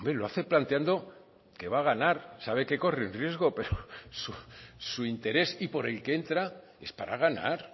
lo hace planteando que va a ganar sabe que corre el riesgo pero su interés y por el que entra es para ganar